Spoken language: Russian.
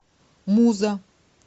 муза